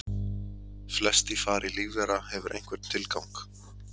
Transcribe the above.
flest í fari lífvera hefur einhvern tilgang